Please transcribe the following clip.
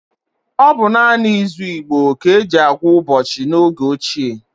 Ọ bụ naanị izu Igbo ka e ji agwuụ ụbọchị n’oge ochie.